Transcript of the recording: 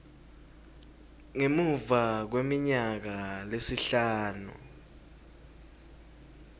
ngemuva kweminyaka lesihlanu